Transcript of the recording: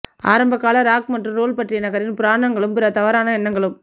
ஆரம்பகால ராக் மற்றும் ரோல் பற்றி நகரின் புராணங்களும் பிற தவறான எண்ணங்களும்